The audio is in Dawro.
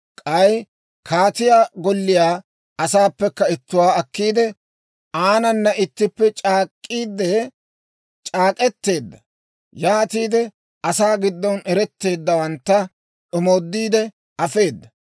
K'ay kaatiyaa golliyaa asaappekka ittuwaa akkiide, aanana ittippe c'aak'k'iide c'aak'k'eteedda; yaatiide asaa giddon ereteeddawantta omoodiide afeeda.